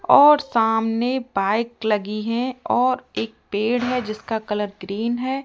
और सामने बाइक लगी है और एक पेड़ है जिसका कलर ग्रीन है।